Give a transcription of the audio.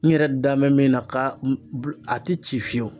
N yɛrɛ da mɛ min na ka a tɛ ci fiyewu.